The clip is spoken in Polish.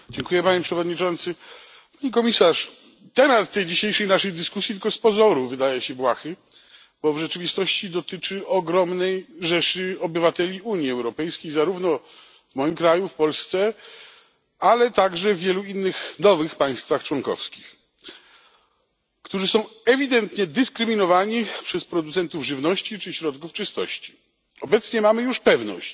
Panie Przewodniczący! Pani Komisarz! Temat naszej dzisiejszej dyskusji tylko z pozoru wydaje się błahy, bo w rzeczywistości dotyczy ogromnej rzeszy obywateli Unii Europejskiej zarówno w moim kraju, w Polsce, ale także wielu innych nowych państwach członkowskich którzy są ewidentnie dyskryminowani przez producentów żywności czy środków czystości. Obecnie mamy już pewność,